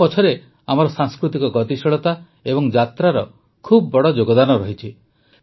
ଏହା ପଛରେ ଆମର ସାଂସ୍କୃତିକ ଗତିଶୀଳତା ଓ ଯାତ୍ରାର ବହୁତ ବଡ଼ ଯୋଗଦାନ ରହିଛି